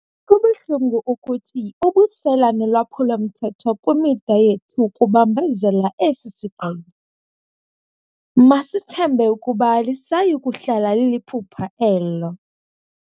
"Kubuhlungu ukuthi, ubusela nolwaphulo-mthetho kwimida yethu kubambezela esi sigqibo. Masithembe ukuba alisayi kuhlala liliphupha elo."